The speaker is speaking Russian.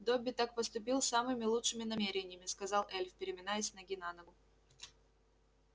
добби так поступил с самыми лучшими намерениями сказал эльф переминаясь с ноги на ногу